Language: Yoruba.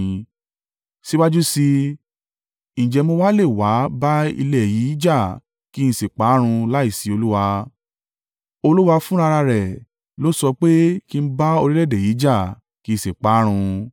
Síwájú sí i, ǹjẹ́ mo wa lè wá bá ilẹ̀ yìí jà kí n sì pa á run láìsí Olúwa? Olúwa fún rara rẹ̀ ló sọ pé kí n bá orílẹ̀-èdè yìí jà kí n sì pa á run.’ ”